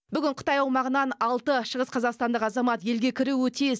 бүгін қытай аумағынан алты шығыс қазақстандық азамат елге кіруі тиіс